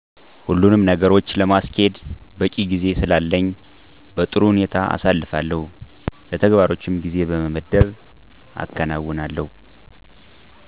ሁሉኑም ነገሮች ለማስኬድ በቂ ጊዜ ስላለኝ በጥሩ ሁኔታ አሳልፋለሁ። ለተግባሮችም ጊዜ በመመደብ አከናዉናለሁ።